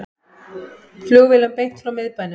Flugvélum beint frá miðbænum